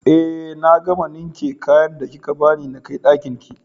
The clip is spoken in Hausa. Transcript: Eh na gama ninke kayan da kika bani nakai Ɗakinki